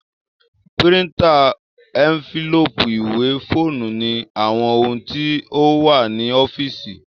Píríntà, ẹ́ńfílóòpù, ìwé, fóònù ni àwọn ohun tí ó wà ní ọ́físì